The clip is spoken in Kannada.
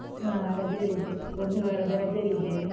ಹ, ರಜೆಯಲ್ಲಿದ್ದೆವು. ಒಂದು ವಾರದ ರಜೆಯಲ್ಲಿದ್ದೇವೆ.